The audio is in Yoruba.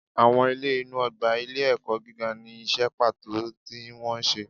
Awọn ilé inu ogba ilé ẹkọ gígá ni iṣẹ pato tí wón ṣe